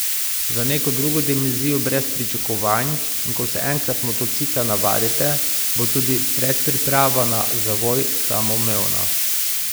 Za neko drugo dimenzijo brez pričakovanj in ko se enkrat motocikla navadite, bo tudi predpriprava na zavoj samoumevna.